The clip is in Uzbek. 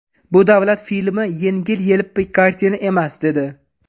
Bu davlat filmi, yengil-yelpi kartina emas”, dedi.